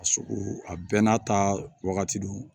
A sugu a bɛɛ n'a ta wagati don